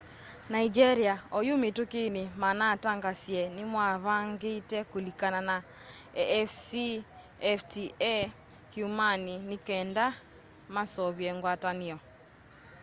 nigeria oyũ mĩtũkĩnĩ manatangaasĩe nĩmavangĩte kũlĩkana na afcfta kyũmwanĩ nĩkenda maseũvye ngwatanĩo